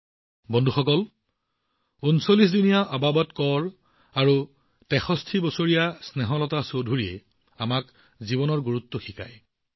বন্ধুসকল ৩৯ দিনীয়া আবাবত কৌৰ হওক বা ৬৩ বছৰীয়া স্নেহলতা চৌধুৰী হওক তেওঁলোকৰ দৰে মহান দাতাই আমাক জীৱনৰ গুৰুত্ব বুজায়